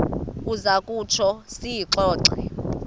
uza kutsho siyixoxe